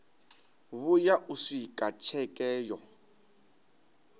vhuya u swika tsheke yo